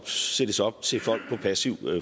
sættes op til folk på passiv